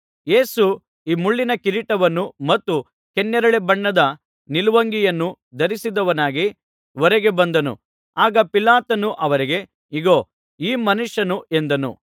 ಯೇಸು ಮುಳ್ಳಿನ ಕಿರೀಟವನ್ನು ಮತ್ತು ಕೆನ್ನೇರಳೆ ಬಣ್ಣದ ನಿಲುವಂಗಿಯನ್ನು ಧರಿಸಿದವನಾಗಿ ಹೊರಗೆ ಬಂದನು ಆಗ ಪಿಲಾತನು ಅವರಿಗೆ ಇಗೋ ಈ ಮನುಷ್ಯನು ಎಂದನು